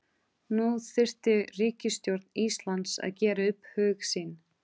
Nú þyrfti ríkisstjórn Íslands að gera upp hug sinn.